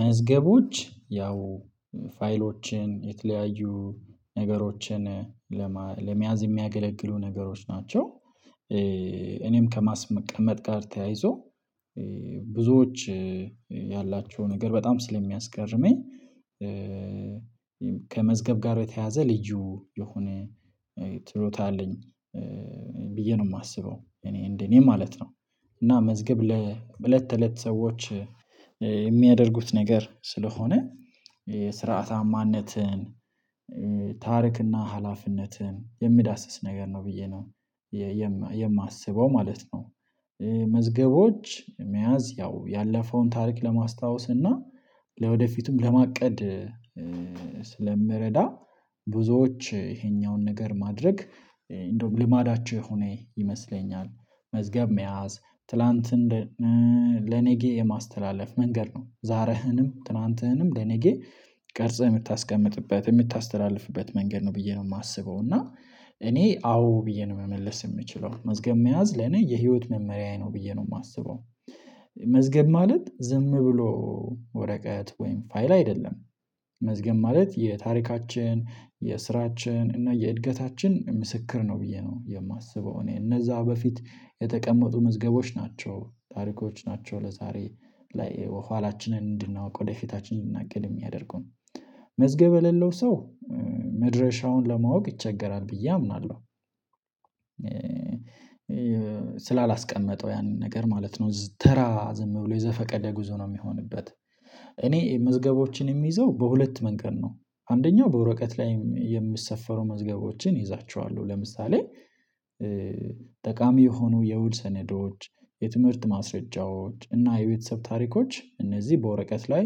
መዝገቦች ያው ፋይሎችን የተለያዩ ነገሮችን ለመያዝ የሚያገለግሉ ነገሮች ናቸው። እኔም ከማስመቀመጥ ጋር ተያይዞ ብዙዎች ያላቸው ነገር በጣም ስለሚያስገርመኝ ከመዝገብ ጋር የተያያዘ ልዩ የሆነ ችሎታ አለኝ። ብዬ ነው የማስበው እኔ እንደ እኔ ማለት ነው። እና መዝገብ ለእለት ተእለት ሰዎች የሚያደርጉት ነገር ስለሆነ የሥርዓተ አማነትን ታሪክ እና ኃላፊነትን የሚዳስስ ነገር ነው ብዬ ነው የማየ ማስበው ማለት ነው። መዝገቦች መያዝ ያው ያለፈውን ታሪክ ለማስታወስ እና ለወደፊቱም ለማቀድ ስለሚረዳ። ብዙዎች ይሄኛውን ነገር ማድረግ እንደውም ልማዳቸው የሆነ ይመስለኛል። መዝገብ መያዝ ትላንትን እንደ ለነገ የማስተላለፍ መንገድ ነው ዛሬህንም ትላንትህንም ለነገ ቀርጸህ የምታስቀምጥበት የምታስተላልፍበት መንገድ ነው ብዬ ነው የማስበው። እና እኔ አዎ ብዬ ነው መመለስ የምችለው መዝገብ መያዝ ለኔ የህይወት መመሪያዬ ነው ብዬ ነው የማስበው። መዝገብ ማለት ዝም ብሎ ወረቀት ወይም ፋይል አይደለም። መዝገብ ማለት የታሪካችን የስራችን እና የእድገታችን ምስክር ነው ብዬ ነው የማስበው። እኔ እነዛ በፊት የተቀመጡ መዝገቦች ናቸው ታሪኮች ናቸው ለዛሬ ላይ ኋላችንን እንድናውቅ ወደፊታችን እንድንናገር የሚያደርጉን መዝገብ የሌለው ሰው መድረሻውን ለማወቅ ይቸገራል ብዬ አምናለሁ። ስላላስቀመጠው ያንን ነገር ማለት ነው ተራ ዝም ብሎ የዘፈቀደ ጉዞ ነው የሚሆንበት። እኔ መዝገቦችን የምይዘው በሁለት መንገድ ነው። አንደኛው በወረቀት ላይ የሚሰፈሩ መዝገቦችን እይዛቸዋለሁ ለምሳሌ ጠቃሚ የሆኑ የውል ሰነዶች የትምህርት ማስረጃዎች እና የቤተሰብ ታሪኮች እነዚህ በወረቀት ላይ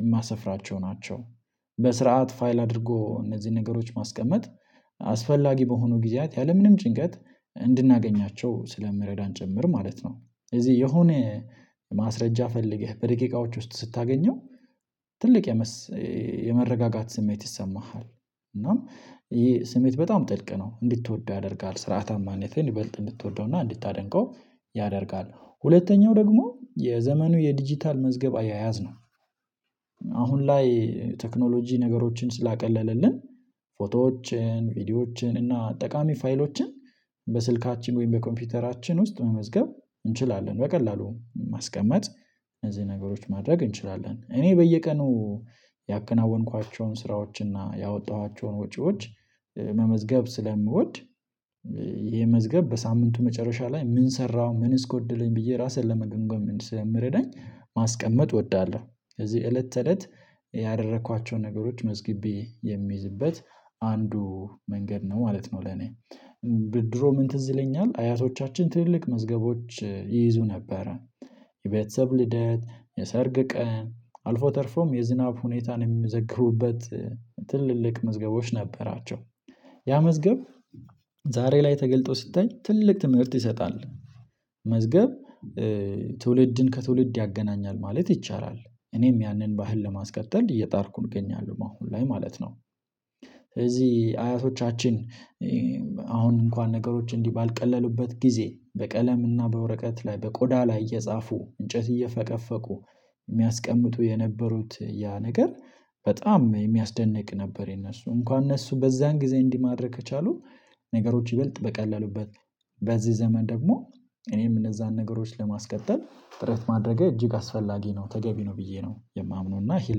የማሰፍራቸው ናቸው። በስርዓት ፋይል አድርጎ እነዚህን ነገሮች ማስቀመጥ አስፈላጊ በሆኑ ጊዜያት ያለምንም ጭንቀት እንድናገኛቸው ስለሚረዳን ጭምር ማለት ነው። እዚህ የሆነ ማስረጃ ፈልገህ በደቂቃዎች ውስጥ ስታገኘው ትልቅ የምስ የመረጋጋት ስሜት ይሰማሃል። እናም ይህ ስሜት በጣም ጥልቅ ነው እንድትወደው ያደርጋል ሥርዓታማነትን ይበልጥ እንድትወደውና እንድታደንቀው ያደርጋል። ሁለተኛው ደግሞ የዘመኑ የዲጂታል መዝገብ አያያዝ ነው። አሁን ላይ ቴክኖሎጂ ነገሮችን ስላቀለለልን ፎቶዎችን ቪዲዮዎችን እና ጠቃሚ ፋይሎችን በስልካችን ወይም በኮምፒውተራችን ውስጥ መመዝገብ እንችላለን በቀላሉ ማስቀመጥ። እነዚህ ነገሮች ማድረግ እንችላለን እኔ በየቀኑ ያከናወንኳቸውን ሥራዎችንና ያወጣኋቸውን ወጪዎች መመዝገብ ስለምወድ ይሄ መዝገብ በሳምንቱ መጨረሻ ላይ ምን ሰራሁ ምንስ ጎደለኝ ብዬ ራሴን ለመገምገምም ስለሚረዳኝ ማስቀመጥ እወዳለሁ። ስለዚህ እለት ተእለት ያደረኳቸውን ነገሮች መዝግቤ የምይዝበት አንዱ መንገድ ነው ማለት ነው። ለእኔ ድሮ ምን ትዝ ይለኛል አያቶቻችን ትልልቅ መዝገቦች ይይዙ ነበረ የቤተሰብ ልደት የሰርግ ቀን አልፎ ተርፎም የዝናብ ሁኔታን የሚመዘግቡበት ትልልቅ መዝገቦች ነበራቸው። ያ መዝገብ ዛሬ ላይ ተገልጦ ሲታይ ትልቅ ትምህርት ይሰጣል። መዝገብ ትውልድን ከትውልድ ያገናኛል ማለት ይቻላል እኔም ያንን ባህል ለማስቀጠል እየጣርኩኝ እገኛለሁ በአሁን ላይ ማለት ነው። ስለዚህ አያቶቻችን አሁን እንኳን ነገሮች እንዲህ ባልቀለሉበት ጊዜ በቀለም እና በወረቀት ላይ በቆዳ ላይ እየጻፉ እንጨት እየፈቀፈቁ የሚያስቀምጡ የነበሩት ያ ነገር በጣም የሚያስደንቅ ነበር። የእነሱ እንኳን እነሱ በዛን ጊዜ እንዲህ ማድረግ ከቻሉ ነገሮች ይበልጥ በቀላሉበት በዚህ ዘመን ደግሞ እኔም እነዛን ነገሮች ለማስቀጠል ጥረት ማድረጌ እጅግ አስፈላጊ ነው ተገቢ ነው ብዬ ነው የማምነው። እና ይሄን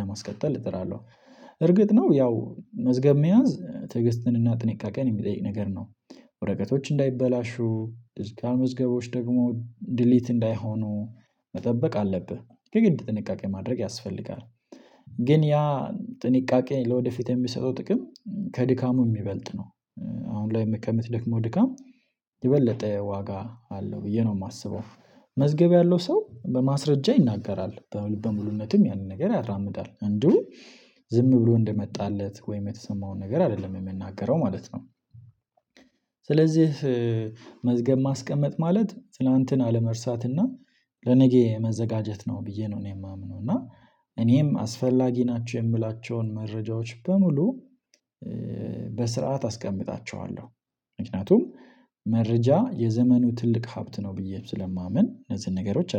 ለማስቀጠል እጥራለሁ። እርግጥ ነው ያው መዝገብ መያዝ ትዕግስትንና ጥንቃቄን የሚጠይቅ ነገር ነው። ወረቀቶች እንዳይበላሹ ድጅታል መዝገቦች ደግሞ ዲሊት እንዳይሆኑ መጠበቅ አለብህ የግድ ጥንቃቄ ማድረግ ያስፈልጋል። ግን ያ ጥንቃቄ ለወደፊት የሚሰጠው ጥቅም ከድካሙ የሚበልጥ ነው። አሁን ላይ ከምትደክመው ድካም የበለጠ ዋጋ አለው ብዬ ነው የማስበው። መዝገብ ያለው ሰው በማስረጃ ይናገራል በልበ ሙሉነትም ያንን ነገር ያራምዳል እንዲሁ ዝም ብሎ እንደመጣለት ወይም የተሰማውን ነገር አይደለም የሚናገረው ማለት ነው። ስለዚህ መዝገብ ማስቀመጥ ማለት ትላንትን አለመርሳትና ለነገ መዘጋጀት ነው ብዬ ነው እኔ የማምነው። እና እኔም አስፈላጊ ናቸው የምላቸውን መረጃዎች በሙሉ በስርዓት አስቀምጣቸዋለሁ። ምክንያቱም መረጃ የዘመኑ ትልቅ ሀብት ነው ብዬ ስለማምን እነዚህን ነገሮች አደርጋለሁ